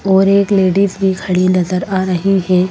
और एक लेडीज भी खड़ी नजर आ रही हैं।